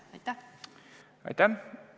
Aitäh!